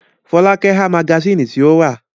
Fọlákẹ́ ha magasínì tí ó rà.